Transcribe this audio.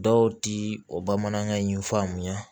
Dɔw ti o bamanankan in faamuya